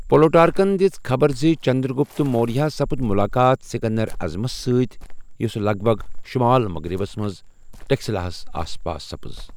پلوٹارکن دِژ خبر زِ چندر گپت موریہ ہس سپُد مُلاقات سکندر اعظم ستۍ یۅسہٕ لگ بگ شمال مغربس منٛز ٹیکسلاہس آس پاس سپٕز۔